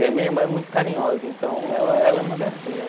E a minha irmã é muito carinhosa, então ela ela é uma gracinha.